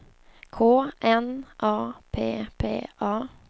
K N A P P A